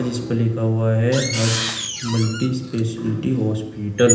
इस पे लिखा हुआ है हर्ष मल्टी स्पेशलिटी हॉस्पिटल ।